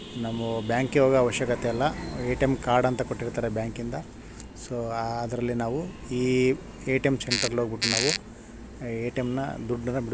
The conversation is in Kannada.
ನಮ್ಮ ಬ್ಯಾಂಕ್ ಅವಕಾಶತೆ ಇಲ್ಲ ಏ.ಟಿ.ಎಂ ಕಾರ್ಡ್ ಅಂತ ಕುಟಿರುತ್ತಾರೆ ಬ್ಯಾಂಕ್ ಇಂದ್ ಸೊ ಅದ್ರಲ್ಲಿ ನಾವು ಈ ಏ.ಟಿ.ಎಂ ಸೆಂಟರ್ ಅಲ್ಲಿ ಹೂಗಬಿಟ್ಟು ನಾವು ಏ.ಟಿ.ಎಂನ್ ದೂಡ್ಡನ್ ಬಿಡ್ಸ್ಕೊಂಡು --